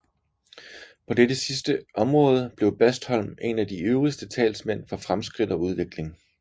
På dette sidste område blev Bastholm en af de ivrigste talsmænd for fremskridt og udvikling